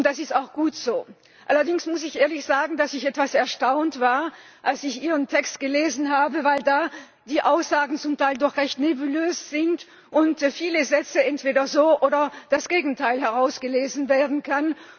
Und das ist auch gut so! Allerdings muss ich ehrlich sagen, dass ich etwas erstaunt war, als ich Ihren Text gelesen habe, weil da die Aussagen zum Teil doch recht nebulös sind und bei vielen Sätzen entweder dies oder das Gegenteil herausgelesen werden kann.